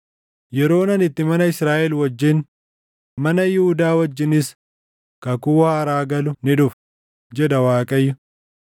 “Yeroon ani itti mana Israaʼel wajjin, mana Yihuudaa wajjinis kakuu haaraa galu ni dhufa,” jedha Waaqayyo.